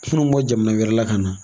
Munnu bɛ bɔ jamana wɛrɛ la ka na.